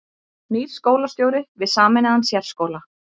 Nýr skólastjóri við sameinaðan sérskóla